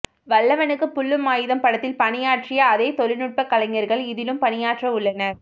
வல்லவனுக்கு புல்லும் ஆயுதம் படத்தில் பணியாற்றிய அதே தொழிநுட்ப கலைஞர்கள் இதிலும் பணியாற்ற உள்ளனர்